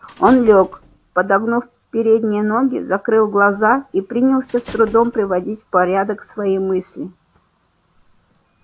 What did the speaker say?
он лёг подогнув передние ноги закрыл глаза и принялся с трудом приводить в порядок свои мысли